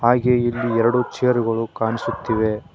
ಹಾಗೆ ಇಲ್ಲಿ ಎರಡು ಚೇರ್ ಗಳು ಕಾಣಿಸುತ್ತಿವೆ.